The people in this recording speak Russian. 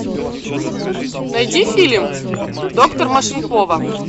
найди фильм доктор машинкова